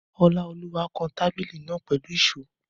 Ọláolúwa kan tábìlì náà pẹ̀lú ìṣó